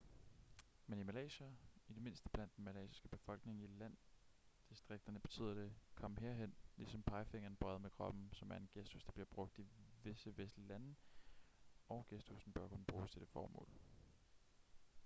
men i malaysia i det mindste blandt den malaysiske befolkning i landdistrikterne betyder det kom herhen ligesom pegefingeren bøjet mod kroppen som er en gestus der bliver brugt i visse vestlige lande og gestussen bør kun bruges til det formål